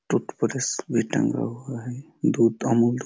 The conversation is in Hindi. टूथब्रश भी टंगा हुआ हैं।